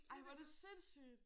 Ej hvor er det sindssygt